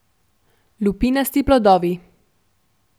Lupinasti plodovi.